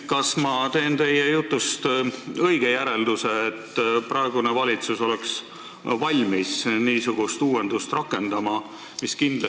Kas ma teen teie jutust õige järelduse, et praegune valitsus oleks valmis seda uuendust rakendama?